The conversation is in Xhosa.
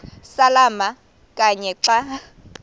samalama kanye xa